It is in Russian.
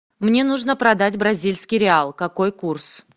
мне нужно продать бразильский реал какой курс